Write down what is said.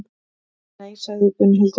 Nei, sagði Gunnhildur.